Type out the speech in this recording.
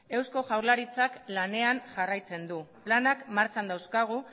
eusko jaurlaritzak lanean jarraitzen du lanak martxan dauzkagu